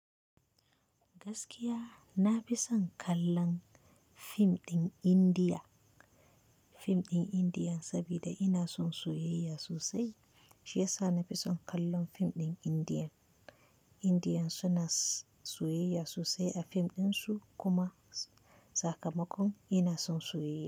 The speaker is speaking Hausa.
Gaskiya na fi son kallon fim ɗin Indiya, fim ɗin Indiya sabida ina son soyayya sosai. Shiyasa nafi son kallon fim ɗin Indiya. Indiyan suna soyayya sosai a fim ɗinsu kuma. Sakamakon ina son soyayya.